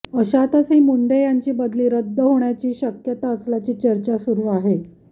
अशातच ही मुंढे यांची बदली रद्द होण्याची शक्यता असल्याची चर्चा सुरु आहे